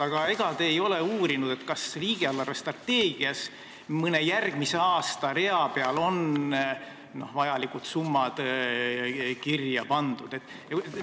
Aga ega te ei ole uurinud, kas riigi eelarvestrateegias mõne järgmise aasta rea peal on vajalikud summad kirja pandud?